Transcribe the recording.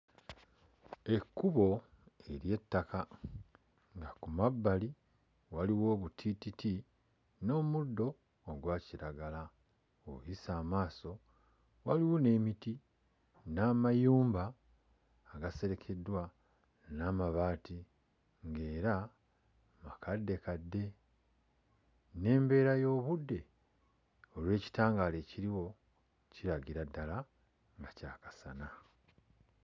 Ekkubo ery'ettaka nga ku mabbali waliwo obutiititi n'omuddo ogwa kiragala. Bw'oyisa amaaso waliwo n'emiti n'amayumba agaserekeddwa n'amabaati ng'era makaddekadde, n'embeera y'obudde olw'ekitangaala ekiriwo kiragira ddala nga kya kasana.